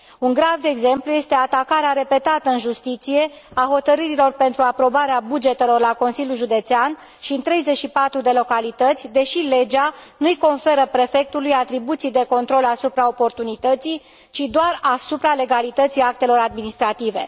Un grav exemplu este atacarea repetată în justiție a hotărârilor pentru aprobarea bugetelor la Consiliul Județean și în 34 de localități, deși legea nu îi conferă prefectului atribuții de control asupra oportunității, ci doar asupra legalității actelor administrative.